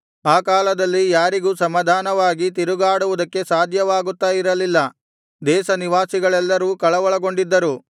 ಆ ಕಾಲದಲ್ಲಿ ಯಾರಿಗೂ ಸಮಾಧಾನವಾಗಿ ತಿರುಗಾಡುವುದಕ್ಕೆ ಸಾಧ್ಯವಾಗುತ್ತಾ ಇರಲಿಲ್ಲ ದೇಶ ನಿವಾಸಿಗಳೆಲ್ಲರೂ ಕಳವಳಗೊಂಡಿದ್ದರು